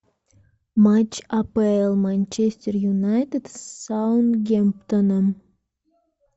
матч апл манчестер юнайтед с саутгемптоном